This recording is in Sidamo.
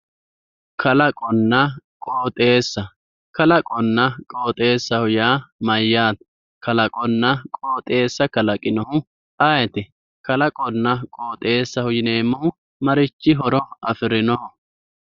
kalaqonna qooxeessa kalaqonna qooxeessa yaa mayyaate? kalaqonna qooxeessa kalaqinohu ayeeti? kalaqonna qooxeessaho yineemmohu marichi horo afirinoho?